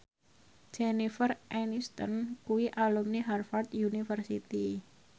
Jennifer Aniston kuwi alumni Harvard university